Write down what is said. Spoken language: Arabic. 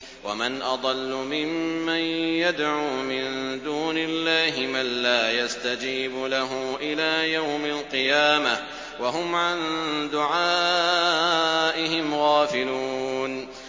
وَمَنْ أَضَلُّ مِمَّن يَدْعُو مِن دُونِ اللَّهِ مَن لَّا يَسْتَجِيبُ لَهُ إِلَىٰ يَوْمِ الْقِيَامَةِ وَهُمْ عَن دُعَائِهِمْ غَافِلُونَ